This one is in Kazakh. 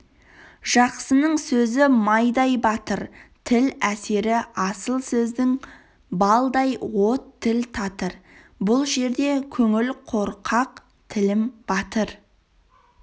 жақсының сөзі майдай батыр тіл әсері асыл сөздің балдай от тіл татыр бұл жерде көңіл қорқақ тілім батыр